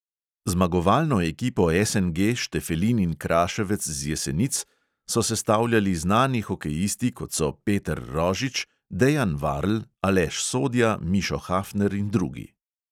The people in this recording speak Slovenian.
Zmagovalno ekipo SNG štefelin in kraševec z jesenic so sestavljali znani hokejisti, kot so peter rožič, dejan varl, aleš sodja, mišo hafner in drugi.